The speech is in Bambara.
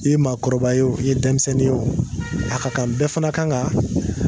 I ye maakɔrɔba ye o, i ye denmisɛnnin ye o, a ka kan bɛɛ fana kan ka